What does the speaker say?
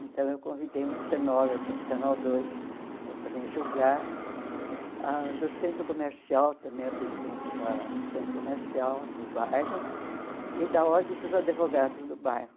Então, eu convidei um cenógrafo do Canal Dois para também julgar, ah do Centro Comercial, também a presidente da do Centro Comercial do bairro, e da Ordem dos Advogados do bairro.